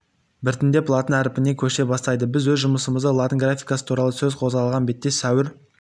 біртіндеп латын әрпіне көше бастайды біз өз жұмысымызды латын графикасы ьуралы сөз қозғалған бетте сәуір